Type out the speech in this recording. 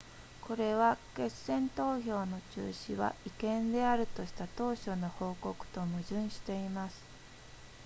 これは決選投票の中止は違憲であるとした当初の報告と矛盾しています